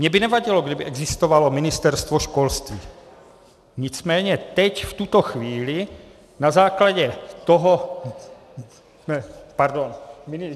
Mně by nevadilo, kdyby existovalo Ministerstvo školství, nicméně teď v tuto chvíli na základě toho... pardon...